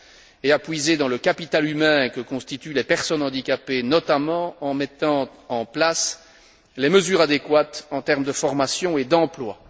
et à puiser dans le capital humain que constituent les personnes handicapées, notamment en mettant en place les mesures adéquates en termes de formation et d'emploi.